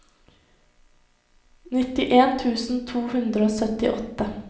nittien tusen to hundre og syttiåtte